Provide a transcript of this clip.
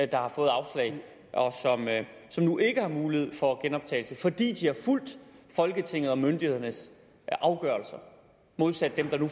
der har fået afslag og som nu ikke har mulighed for genoptagelse fordi de har fulgt folketingets og myndighedernes afgørelse modsat dem der nu